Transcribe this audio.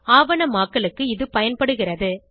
ஆவணமாக்கலுக்கு இது பயன்படுகிறது